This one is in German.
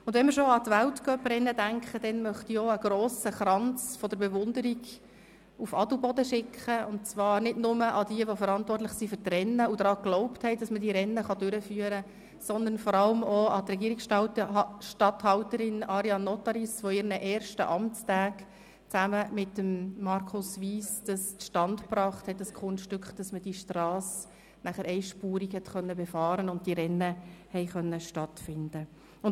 Wenn wir schon an die Weltcuprennen denken, dann möchte ich noch einen grossen Kranz der Bewunderung nach Adelboden senden, und zwar nicht nur an die, die für die Rennen verantwortlich sind und daran geglaubt haben, dass sie ausgetragen werden können, sondern vor allem auch an die Regierungsstatthalterin Ariane Nottaris, die in ihren ersten Amtstagen zusammen mit Markus Wyss das Kunststück zustande gebracht hat, dass die Strasse einspurig befahren werden und die Rennen stattfinden konnten.